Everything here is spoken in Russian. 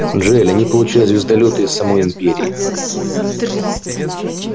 джаэль они получают звездолёты из самой империи